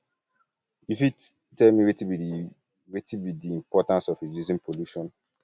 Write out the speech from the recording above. you fit um tell me um wetin be di wetin be di importance of reducing pollution um